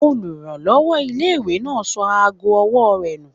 Olùrànlọ́wọ́ ilé-ìwé náà sọ ago ọwọ́ rẹ̀ nù